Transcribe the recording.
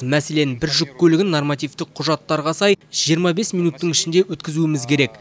мәселен бір жүк көлігін нормативтік құжаттарға сай жиырма бес минуттың ішінде өткізуіміз керек